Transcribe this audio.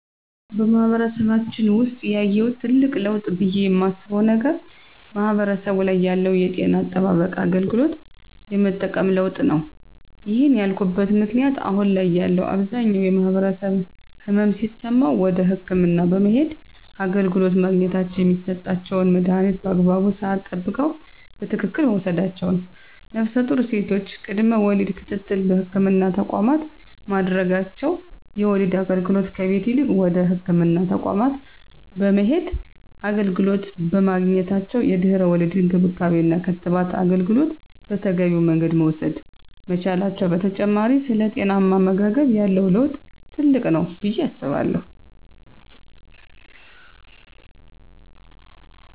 በማህበረሰባችን ውሰጥ ያየሁት ትልቅ ለውጥ ብየ የማስበው ነገር ማህበረሰቡ ላይ ያለው የጤና አጠባበቅና አገልግሎት የመጠቀም ለውጥ ነው። ይህን ያልኩበት ምክንያት አሁን ላይ ያለው አብዛኛው ማህበረሰብ ህመም ሲሰማው ወደ ህክምና በመሄድ አገልግሎት ማግኘታቸውና የሚሰጣቸውን መድሀኒት በአግባቡ ስዓት ጠብቀው በትክክል መውሰዳቸው ነፍሰጡር ሴቶች ቅድመ ወሊድ ክትትል በህክምና ተቋማት ማድረጋቸው የወሊድ አገልግሎት ከቤት ይልቅ ወደ ህክምና ተቋማት በመሄድ አገልግሎት በማግኘታቸው የድህረ ወሊድ እንክብካቤና የክትባት አገልግሎት በተገቢው መንገድ መውሰድ መቻላቸው በተጨማሪ ስለ ጤናማ አመጋገብ ያለው ለውጥ ትልቅ ነው ብየ አስባለሁ።